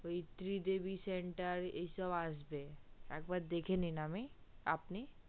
ওই ত্রিদেবী center এই সব আসবে একবার দেখে নিন আমি আপনি